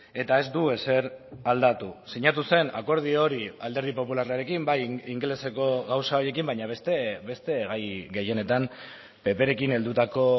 eta ez du ezer aldatu sinatu zen akordio hori alderdi popularrarekin bai ingeleseko gauza horiekin baina beste gai gehienetan pp rekin heldutako